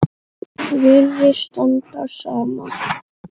Virðist standa á sama.